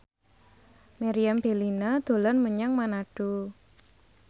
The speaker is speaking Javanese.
Meriam Bellina dolan menyang Manado